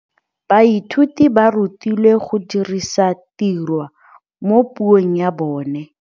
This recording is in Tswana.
Baithuti ba rutilwe go dirisa tirwa mo puong ya bone.